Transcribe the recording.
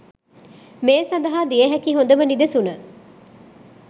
මේ සඳහා දිය හැකි හොඳම නිදසුන